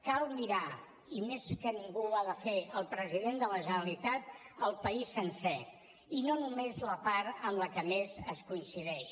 cal mirar i més que ningú ho ha de fer el president de la generalitat el país sencer i no només la part amb la que més es coincideix